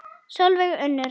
Sólveig Unnur.